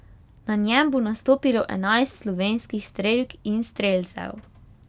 Na njem bo nastopilo enajst slovenskih strelk in strelcev.